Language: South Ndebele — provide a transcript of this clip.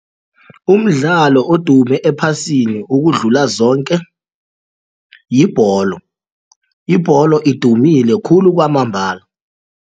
Umdlalo odume ephasini ukudlula zonke yibholo, ibholo idumile khulu kwamambala.